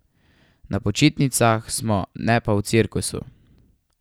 Na počitnicah smo, ne pa v cirkusu!